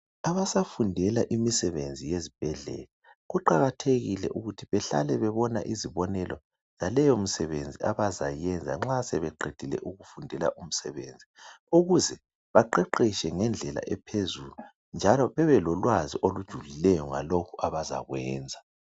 Abasafundela imisebenzi yezibhedlela kuqakathekile ukuthi bahlale bebona izibonelo laleyo msebenzi abazayenza nxa sebeqedile ukufundela umsebenzi. Ukuze baqeqetshe ngendlela ephezulu njalo babe lolwazi olujulileyo lalokho abazakwenza.